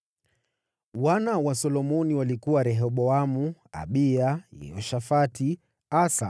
Mwana wa Solomoni alikuwa Rehoboamu, mwanawe huyo alikuwa Abiya, mwanawe huyo alikuwa Yehoshafati, mwanawe huyo alikuwa Asa,